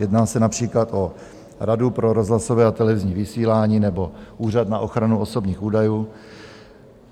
Jedná se například o Radu pro rozhlasové a televizní vysílání nebo Úřad na ochranu osobních údajů.